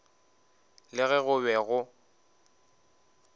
le ge go be go